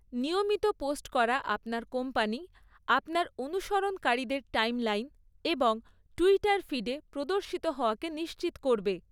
নিয়মিত পোস্ট করা আপনার কোম্পানি আপনার অনুসরণকারীদের টাইমলাইন এবং টুইটার ফিডে প্রদর্শিত হওয়াকে নিশ্চিত করবে।